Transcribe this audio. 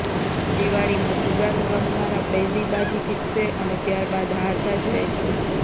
દિવાળીમાં જુગાર રમનારા પહેલી બાજી જીતશે અને ત્યારબાદ હારતા જ રહેશે